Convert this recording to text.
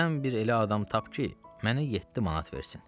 Sən bir elə adam tap ki, mənə yeddi manat versin.